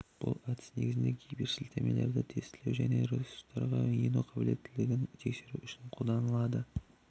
бұл әдіс негізінен гиперсілтемелерді тестілеу және ресуртарға ену қалбілеттілігін тексеру үшін қолданылады